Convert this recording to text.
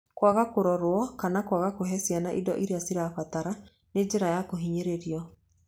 Kwaga kũrorwo kana kwaga kũhee ciana indo iria cirabatara nĩ njĩra ya kũhinyĩrĩrio.